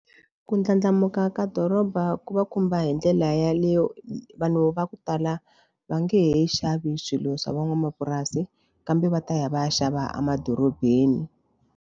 Ku ndlandlamuka ka doroba ku va khumba hi ndlela yaleyo vanhu va ku tala va nge he xavi swilo swa van'wamapurasi kambe va ta ya va ya xava emadorobeni.